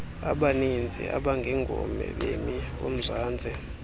abaninzi abangengobemi bomzantsi